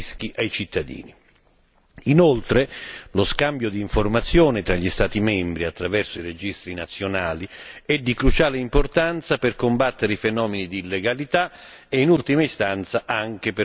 Inoltre, lo scambio di informazioni tra gli Stati membri attraverso i registri nazionali è di cruciale importanza per combattere i fenomeni di illegalità e in ultima istanza anche per favorire la sicurezza stradale.